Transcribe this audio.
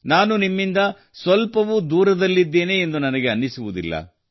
ನಾನು ನಿಮ್ಮಿಂದ ಸ್ವಲ್ಪವೂ ದೂರದಲ್ಲಿದ್ದೇನೆ ಎಂದು ನನಗೆ ಅನಿಸುವುದಿಲ್ಲ